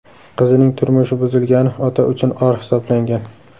Qizining turmushi buzilgani ota uchun or hisoblangan.